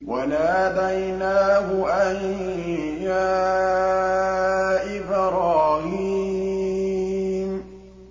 وَنَادَيْنَاهُ أَن يَا إِبْرَاهِيمُ